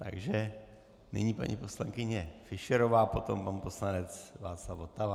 Takže nyní paní poslankyně Fischerová, potom pan poslanec Václav Votava.